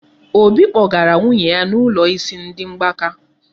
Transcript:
Obi kpọgara nwunye ya n'ụlọ isi ndị mgbaka.